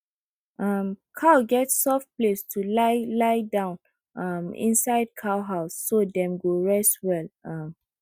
um cow get soft place to lie lie down um inside cow house so dem go rest well um